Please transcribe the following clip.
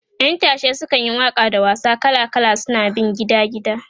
ƴan tashe sukan yi Waka da wasa kala kala suna bin gida gida